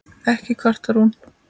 Ekki kvartar hún